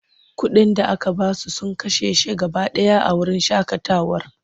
Kuɗin da aka ba su sun kashe shi gaba ɗaya a wurin shaƙatawar.